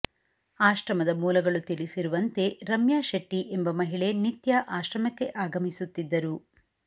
ಆಶ್ರಮದ ಮೂಲಗಳು ತಿಳಿಸಿರುವಂತೆ ರಮ್ಯಾ ಶೆಟ್ಟಿ ಎಂಬ ಮಹಿಳೆ ನಿತ್ಯ ಆಶ್ರಮಕ್ಕೆ ಆಗಮಿಸುತ್ತಿದ್ದರು